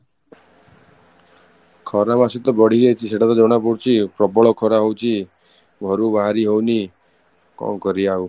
ଖରା ମାସ ତ ବଢି ଯାଇଛି ସେଟା ତ ଜଣାପଡ଼ୁଛି ପ୍ରବଳ ଖରା ହଉଛି ଘରୁ ବାହାରି ହଉନି, କ'ଣ କରିବା ଆଉ